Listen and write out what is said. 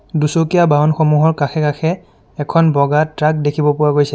দুচকীয়া বাহনসমূহৰ কাষে কাষে এখন বগা ট্ৰাক দেখিব পোৱা গৈছে।